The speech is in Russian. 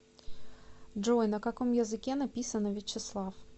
джой на каком языке написано вячеслав